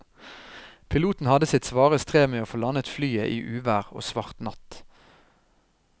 Piloten hadde sitt svare strev med å få landet flyet i uvær og svart natt.